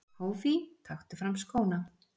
Hófí taktu fram skóna!!!!!!